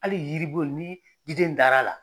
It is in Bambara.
Hali yiribu ni diden dar'a la.